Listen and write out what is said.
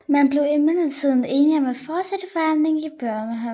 Men blev imidlertid enige om at fortsætte forhandlingerne i Bøhmen